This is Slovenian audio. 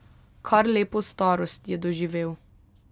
Kar lepo starost je doživel.